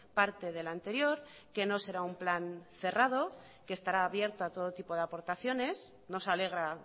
parte del anterior que no será un plan cerrado que estará abierto a todo tipo de aportaciones nos alegra